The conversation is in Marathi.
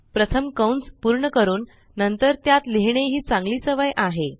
प्रथम कंस पूर्ण करून नंतर त्यात लिहिणे ही चांगली सवय आहे